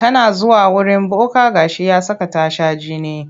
Tana zuwa wurin boka ga shi ya saka ta shan jini.